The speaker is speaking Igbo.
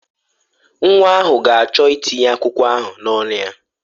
Nwa ahụ ga-achọ ịtinye akwụkwọ ahụ n'ọnụ ya.